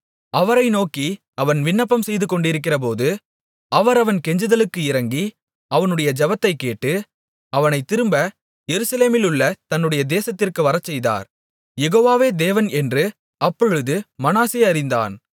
அவரை நோக்கி அவன் விண்ணப்பம் செய்துகொண்டிருக்கிறபோது அவர் அவன் கெஞ்சுதலுக்கு இரங்கி அவனுடைய ஜெபத்தைக் கேட்டு அவனைத் திரும்ப எருசலேமிலுள்ள தன்னுடைய தேசத்திற்கு வரச்செய்தார் யெகோவாவே தேவன் என்று அப்பொழுது மனாசே அறிந்தான்